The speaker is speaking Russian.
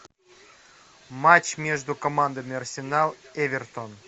матч между командами арсенал эвертон